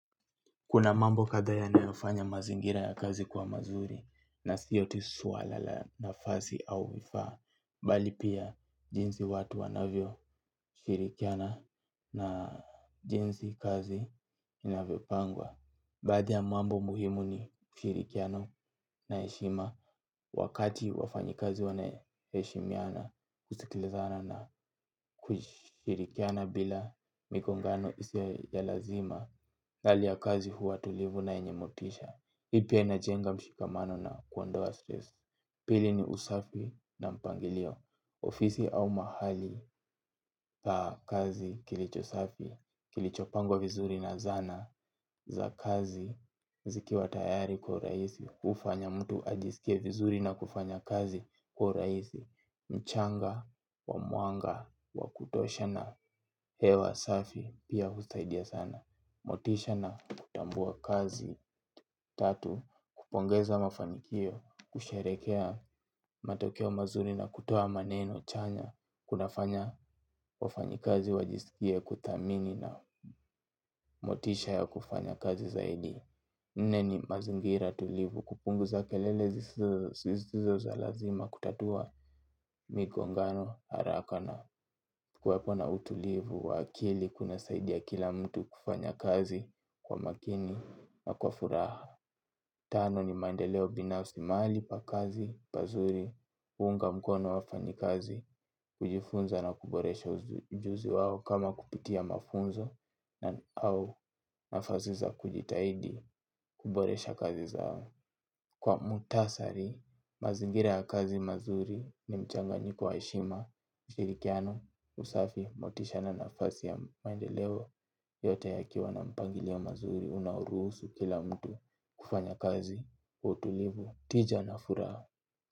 Kuna mambo kadha yanayofanya mazingira ya kazi kwa mazuri na sio tu swala la nafasi au vifaa, bali pia jinsi watu wanavyo shirikiana na jinsi kazi inavyo pangwa. Baadhi ya mambo muhimu ni ushirikiano na heshima wakati wafanyikazi wana heshimiana kusikilizana na kushirikiana bila mikongano isiyo ya lazima hali ya kazi huwa tulivu na yenye motisha hi pia inajenga mshikamano na kuondoa stress. Pili ni usafi na mpangilio. Ofisi au mahali pa kazi kilicho safi kilicho pangwa vizuri na zana za kazi zikiwa tayari kwa uraihisi. Ufanya mtu ajisikie vizuri na kufanya kazi kwa uraisi. Mchanga wa mwanga wa kutosha na hewa safi pia husaidia sana. Motisha na kutambua kazi tatu kupongeza mafanikio kusherehekea matokea mazuri na kutoa maneno chanya kunafanya wafanyikazi wajisikie kuthamini na motisha ya kufanya kazi zaidi. Neni mazingira tulivu kupunguza kelele zisizo za lazima kutatua migongano haraka na kuwapa na utulivu wa akili kuna saidia kila mtu kufanya kazi kwa makini na kwa furaha. Tano ni maendeleo binafsi mahali pa kazi, pazuri, kuunga mkono wafanyikazi, kujifunza na kuboresha ujuzi wao kama kupitia mafunzo na au nafasi za kujitahidi kuboresha kazi zao. Kwa mutasari, mazingira ya kazi mazuri ni mchanganyiko wa heshima, ushirikiano, usafi, motisha na nafasi ya maendeleo yote yakiwa na mpangilio mazuri unauruhusu kila mtu kufanya kazi, utulivu, tija na furaha.